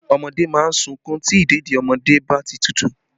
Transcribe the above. Ọmọdé má ń sunkún tí ìdèdí ọmọdé bá ti tútù